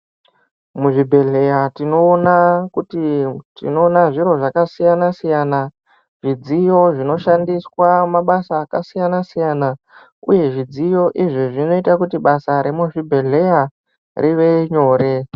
Muzvibhedhlera tinoonakuti tiona zviro zvakasiyana siyana zvidziyo zvinoshandiswa mabasa akasiyana siyana uye zvidziyo izvi zvinoita kuti basa remuzvibhedhlera rive nyore.